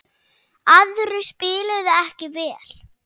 Aðrir spiluðu ekki vel.